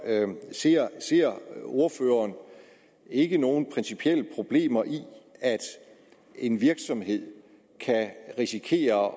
ser ordføreren ikke nogen principielle problemer i at en virksomhed kan risikere at